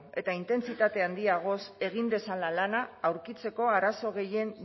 eta intentsitate handiagoz egin dezala lana aurkitzeko arazo gehien